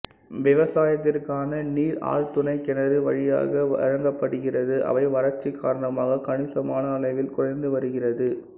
விவசாயத்திற்கான நீர் ஆழ்துணை கிணறு வழியாக வழங்கப்படுகிறது அவை வறட்சி காரணமாக கணிசமான அளவில் குறைந்து வருகிறது